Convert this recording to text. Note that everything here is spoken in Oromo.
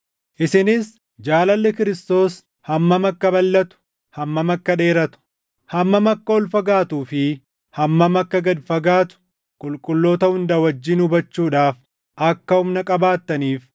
isinis jaalalli Kiristoos hammam akka balʼatu, hammam akka dheeratu, hammam akka ol fagaatuu fi hammam akka gad fagaatu qulqulloota hunda wajjin hubachuudhaaf akka humna qabaattaniif,